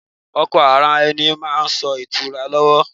Ọkọ ara ẹni máa ń mú ìtura lọ́wọ́.